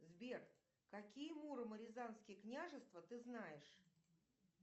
сбер какие муромо рязанские княжества ты знаешь